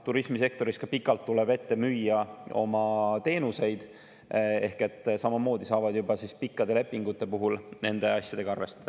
Turismisektoris ka tuleb pikalt ette müüa oma teenuseid, ehk et samamoodi saavad nad siis pikkade lepingute puhul juba nende asjadega arvestada.